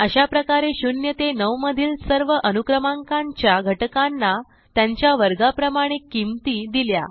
अशाप्रकारे 0 ते 9 मधील सर्व अनुक्रमांकांच्या घटकांना त्यांच्या वर्गाप्रमाणे किंमती दिल्या